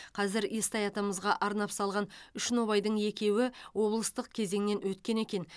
қазір естай атамызға арнап салған үш нобайдың екеуі облыстық кезеңнен өткен екен